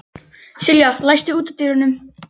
Sylgja, læstu útidyrunum.